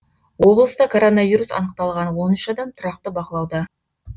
облыста коронавирус анықталған он үш адам тұрақты бақылауда